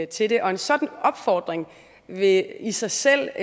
til det og en sådan opfordring vil i sig selv